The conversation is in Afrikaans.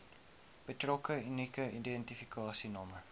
betrokke unieke identifikasienommer